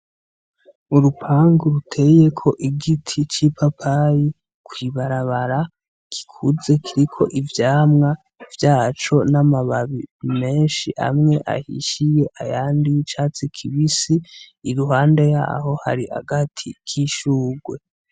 Urupangu ruteyeko igiti c'ipapayi ku ibarabara gikuze kiriko ivyamwa vyaco n'amababi meshi amwe ahishiye ayandi y'icatsi kibisi iruhande yaho hari agati k'ishurwe.